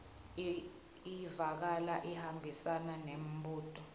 ivakala ihambisana nembuto